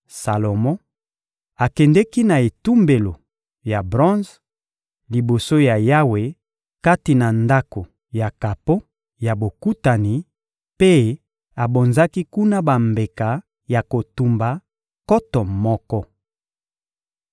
Salomo akendeki na etumbelo ya bronze, liboso ya Yawe kati na Ndako ya kapo ya Bokutani, mpe abonzaki kuna bambeka ya kotumba nkoto moko.